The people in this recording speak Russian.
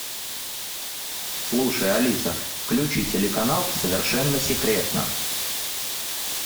слушай алиса включи телеканал совершенно секретно